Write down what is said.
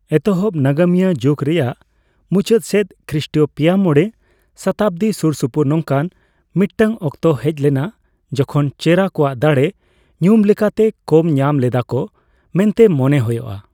ᱮᱛᱚᱦᱚᱵ ᱱᱟᱜᱟᱢᱤᱭᱟᱹ ᱡᱩᱠ ᱨᱮᱭᱟᱜ ᱢᱩᱪᱟᱹᱫ ᱥᱮᱫ, ᱠᱷᱤᱥᱴᱤᱭᱚ ᱯᱮᱭᱟᱼᱢᱚᱲᱮ ᱥᱚᱛᱟᱵᱫᱤ ᱥᱩᱨᱥᱩᱯᱩᱨ ᱱᱚᱝᱠᱟᱱ ᱢᱤᱫᱴᱟᱝ ᱚᱠᱛᱚ ᱦᱮᱡ ᱞᱮᱱᱟ ᱡᱚᱠᱷᱚᱱ ᱪᱮᱨᱟ ᱠᱚᱣᱟᱜ ᱫᱟᱲᱮ ᱧᱩᱢ ᱞᱮᱠᱟᱛᱮ ᱠᱚᱢ ᱧᱟᱢ ᱞᱮᱫᱟ ᱠᱚ ᱢᱮᱱᱛᱮ ᱢᱚᱱᱮ ᱦᱚᱭᱚᱜ ᱟ ᱾